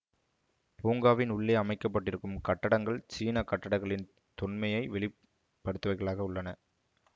பூங்காவின் உள்ளே அமைக்க பட்டிருக்கும் கட்டடங்கள் சீன கட்டக்கலின் தொன்மையை வெளிப்படுத்துபவைகளாக உள்ளன